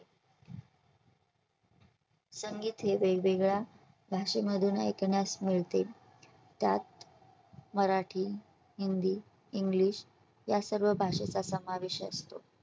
संगीत हे वेगवेगळ्या भाषेमधून ऐकाण्यास मिळते. त्यात मराठी, हिंदी, english या सर्व भाषेचा समावेश असतो.